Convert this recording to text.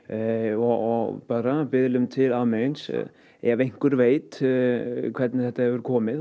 og bara til almennings ef einhver veit hvernig þetta hefur komið